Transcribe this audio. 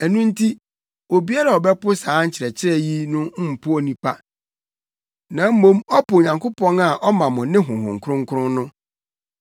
Ɛno nti, obiara a ɔbɛpo saa nkyerɛkyerɛ yi no mpo onipa, na mmom ɔpo Onyankopɔn a ɔma mo ne Honhom Kronkron no.